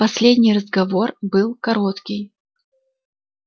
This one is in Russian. последний разговор был короткий